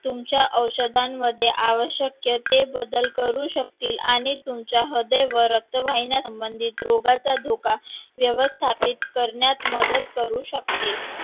तुमच्या औषधांमध्ये आवश्यक ते बदल करू शकतील आणि तुमच्या हदे व रक्तवाहिन्यांसंबंधित रोगाचा धोका व्यवस्थापित करण्यात मदत करू शकतील